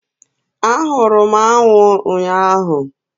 Ahụrụ m anụ ụnyahụ